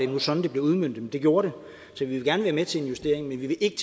var sådan det blev udmøntet men det gjorde det så vi vil gerne være med til en justering men vi vil ikke